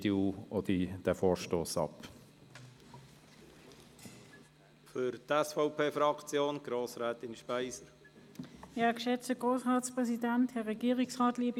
Aus den bereits erwähnten Gründen lehnt die EDU auch diesen Vorstoss ab.